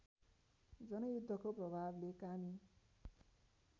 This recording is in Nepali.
जनयुद्धको प्रभावले कामी